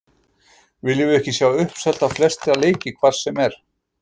Viljum við ekki sjá uppselt á flesta leiki hvar sem er?